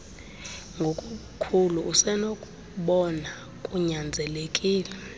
ngokobukhulu usenokubona kunyanzelekile